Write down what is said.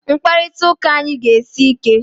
Mkparịta ụka anyị ga-esi ike!